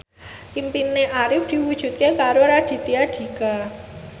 impine Arif diwujudke karo Raditya Dika